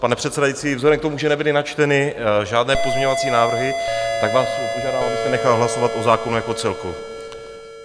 Pane předsedající, vzhledem k tomu, že nebyly načteny žádné pozměňovací návrhy, tak vás požádám, abyste nechal hlasovat o zákonu jako celku.